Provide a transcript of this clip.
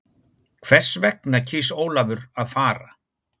Hvers vegna kýs Ólafur að fara?